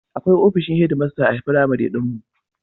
Akwai ofishin hedmasta a firamare ɗin mu.